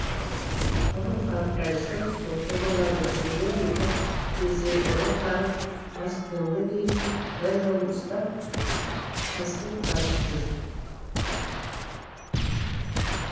ұры қартайса сопы болады дегендей бір кездегі ұры қары маскүнемге дейін құдай жолын ұстап таспих тартып жүр